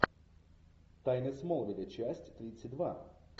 тайны смолвиля часть тридцать два